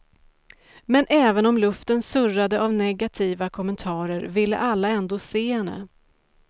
Men även om luften surrade av negativa kommentarer ville alla ändå se henne.